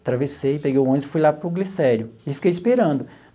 Atravessei, peguei o ônibus e fui lá para o Glicério e fiquei esperando.